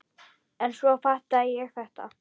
En svo fattaði ég þetta!